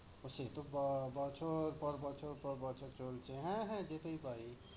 ও সে তো প~ বছর পর বছর পর বছর চলছেই। হ্যাঁ হ্যাঁ যেতেই পারি।